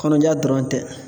Kɔnɔja dɔrɔn tɛ.